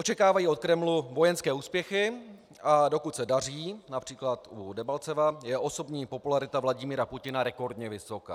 Očekávají od Kremlu vojenské úspěchy, a dokud se daří například u Debalceva, je osobní popularita Vladimíra Putina rekordně vysoká.